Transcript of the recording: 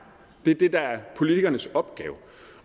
det er det der er politikernes opgave